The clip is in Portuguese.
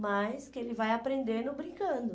Mas que ele vai aprendendo brincando.